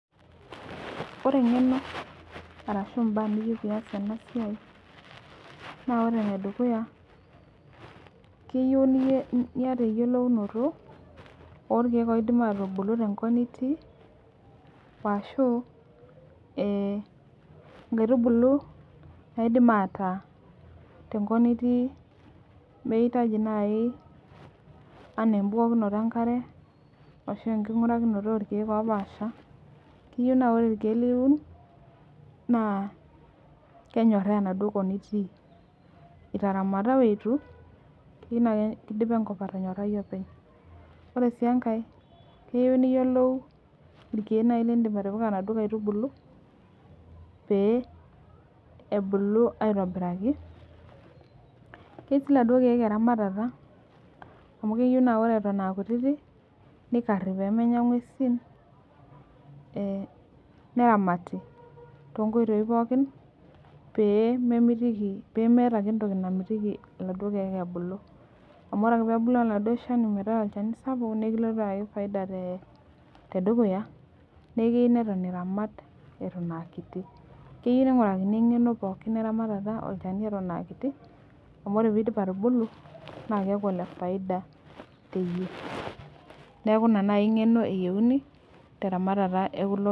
Ore engeno ashu mbaa niyieu pias enasia na ore enedukuya keyieu niata eyiolounoto orkiek oidim atubulu tenkop nitii ashu e nkaitubulu naidim ataa tenkop nitii meitaji nai ana embukokino enkare ashu enkingirakino orkiek opaasha , keyieu na ore irkiek liun na kenyoraa enaduo kop itaramata oitu keyieu na kidipa enkop atonyorai openy, keyieu niyolo irkiek lindim atipika naduo aitubulu pe ebulu aitobiraki keyieu si irkiek eramatata amu ore aa kutitik nikari pemenya ngwesi neramati tonkoitoi pokki pe memitiki pemeeta entoki namitiki laduo kiek ebulu amu ore ake pebulu oladuo shani metaa olchani sapuk na ekilotu ayaki faida tedukuya neaku keyieu niramat atan aa kiti keyieu ningurakini eramatata atan aa kiti amu ore pidip atubulu nakeaku olefaida tene neaku inangeno eyieuni teramatata ekulo.